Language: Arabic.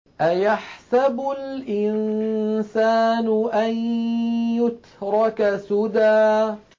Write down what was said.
أَيَحْسَبُ الْإِنسَانُ أَن يُتْرَكَ سُدًى